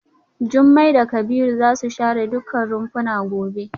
Jumai da Kabiru za su share dukkan rumfuna gobe.